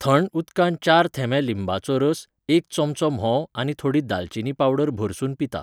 थंड उदकांत चार थेंबे लिंबाचो रस एक चमचो म्होंव आनी थोडी दालचिनी पावडर भरसुन पिता.